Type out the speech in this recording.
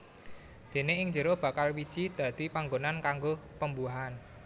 Déné ing jero bakal wiji dadi panggonan kanggo pembuahan